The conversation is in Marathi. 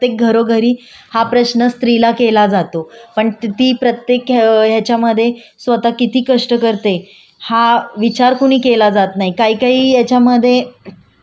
हा विचार कुणी केला जात नाही. काई काही याच्यामध्ये म्हणजे काही काही कामगार काम करतात कधी कधी त्यांच्याकडून जेवढं काम करून घेतलं जातं त्याचा मोबदला पुरेपूर दिला जात नाही